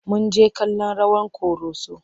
Mun jjke kallon rawar ƙoroso.